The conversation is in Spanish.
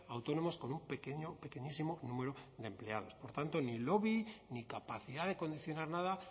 autónomos con un pequeño pequeñísimo número de empleados por tanto ni lobby ni capacidad de condicionar nada